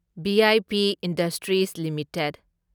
V I P industries limited